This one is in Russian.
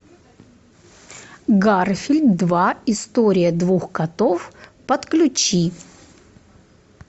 гарфилд два история двух котов подключи